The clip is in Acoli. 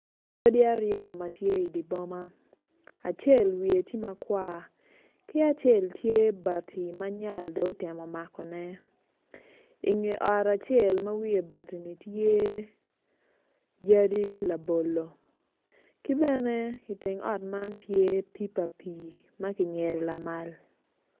Odi ariyo ma tye i di boma acel wiye ti makwar ki acel tye bati ma nyal dong otemo makone inge ot acel ma wiye tye bati-ni tye yadi labolo ki bene iteng ot man tye pipa pii ma ki nyedo lamal